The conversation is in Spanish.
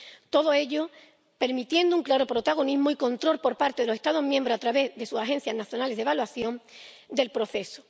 Todo ello permitiendo un claro protagonismo y control por parte de los Estados miembros a través de sus agencias nacionales de evaluación del proceso.